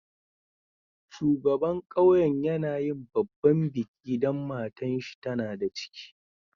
Shugaban ƙauyen yana yin babban biki dan matan shi tana da ciki.